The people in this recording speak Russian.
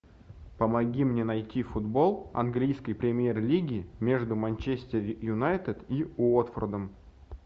помоги мне найти футбол английской премьер лиги между манчестер юнайтед и уотфордом